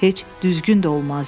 Heç düzgün də olmazdı.